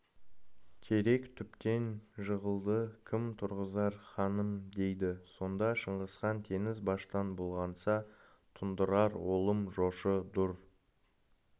терек түптен жығылды кім тұрғызар ханым дейді сонда шыңғысхан теңіз баштан бұлғанса тұндырар олым жошы дұр